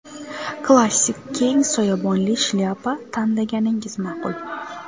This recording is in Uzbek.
Klassik keng soyabonli shlyapa tanlaganingiz ma’qul.